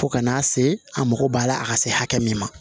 Fo ka n'a se a mago b'a la a ka se hakɛ min ma